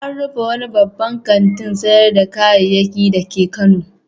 An rufe wani babban kantin sayar da kayayyaki dake Kano.